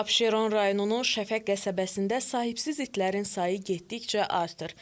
Abşeron rayonunun Şəfəq qəsəbəsində sahibsiz itlərin sayı getdikcə artır.